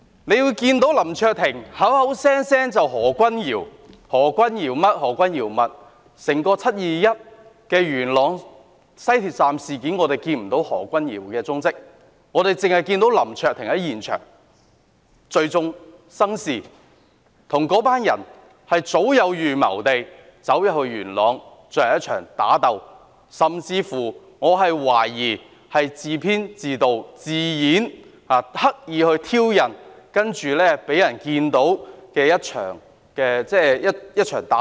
林卓廷議員口口聲聲說何君堯這樣那樣，但在整件"七二一"元朗西鐵站事件中，我們看不到何君堯議員的蹤跡，只看到林卓廷議員在現場聚眾生事，與那群人早有預謀地到元朗進行一場打鬥，我甚至懷疑他自編自導自演，刻意挑釁，然後讓人看到一場打鬥。